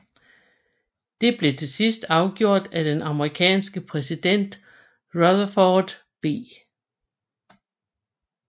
Det blev til sidst afgjort af den amerikanske præsident Rutherford B